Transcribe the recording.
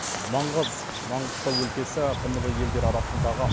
маңғаз маңғыстау өлкесі тмд елдері арасындағы